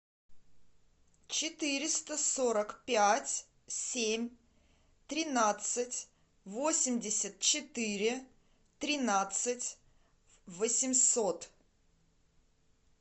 четыреста сорок пять семь тринадцать восемьдесят четыре тринадцать восемьсот